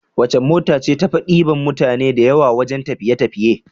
Wace mota ce tafi diban mutane da yawa wajan tafiye tafiye